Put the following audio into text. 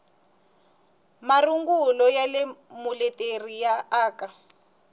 marungulo ya muleteri ya aka